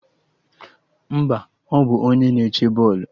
Mba, ọ bụ onye na-eche bọọlụ